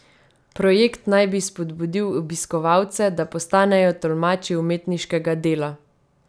Projekt naj bi spodbudil obiskovalce, da postanejo tolmači umetniškega dela.